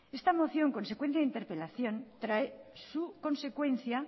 esta moción consecuencia de interpelación trae su consecuencia